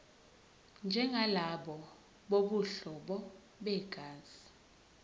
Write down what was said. njengalabo bobuhlobo begazi